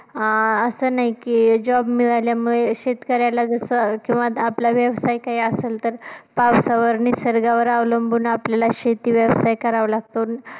अं असं नाही की job मिळाल्यामुळे शेतकऱ्याला जसं किंवा आपला व्यवसाय काय असेल तर पावसावर निसर्गावर अवलंबून आपल्याला शेती व्यवसाय करावं लागतं.